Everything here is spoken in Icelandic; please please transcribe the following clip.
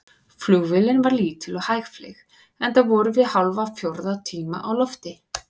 Flugvélin var lítil og hægfleyg, enda vorum við hálfan fjórða tíma í lofti.